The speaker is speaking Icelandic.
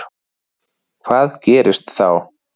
Hvað gerist þá?